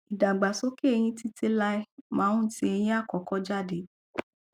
ìdàgbàsókè eyín títí láéláé máa ń tì eyín àkọkọ jáde